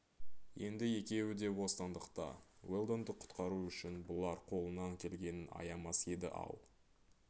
енді екеуі де бостандықта уэлдонды құтқару үшін бұлар қолынан келгенін аямас еді-ау